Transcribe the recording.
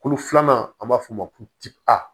Kolo filanan an b'a f'o ma ko ti a